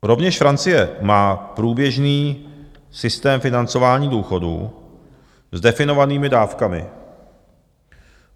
Rovněž Francie má průběžný systém financování důchodů s definovanými dávkami.